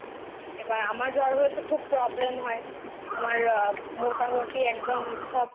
এবার আমার জ্বর হলে তো খুব Problem হয় আমার মোটামোটি একদম সব